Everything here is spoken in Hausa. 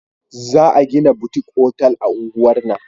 Za a gina butik otal a unguwar nan